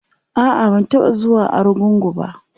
a'a ban taɓa zuwa argungu ba